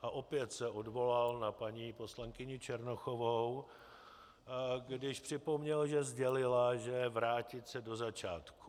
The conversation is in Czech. A opět se odvolal na paní poslankyni Černochovou, když připomněl, že sdělila, že vrátit se do začátku.